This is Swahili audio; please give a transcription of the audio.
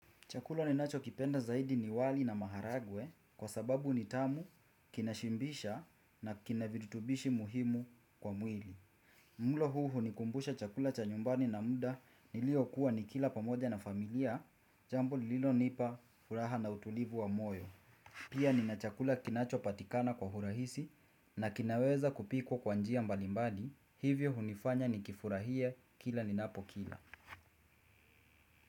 Chakula ninachokipenda zaidi ni wali na maharagwe kwa sababu ni tamu, kinashibisha na kina viritubishi muhimu kwa mwili. Mlo huu hunikumbusha chakula cha nyumbani na muda niliokuwa nikila pamoja na familia, jambo lililonipa furaha na utulivu wa moyo. Pia nina chakula kinachopatikana kwa urahisi na kinaweza kupikwa kwa njia mbalimbali, hivyo hunifanya nikifurahie kila ninapokila.